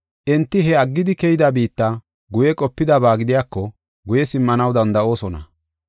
Enti he aggidi keyida biitta guye qopidaba gidiyako guye simmanaw danda7oosona.